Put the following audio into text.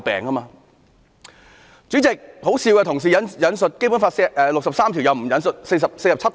代理主席，可笑的是，同事引述《基本法》第六十三條，卻不引述第四十七條。